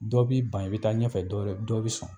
Dɔ b'i ban i bɛ taa ɲɛfɛ dɔ wɛrɛ dɔ bɛ sɔn